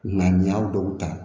Ŋaniya dɔw ta